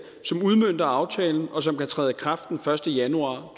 som udmønter aftalen og som kan træde i kraft den første januar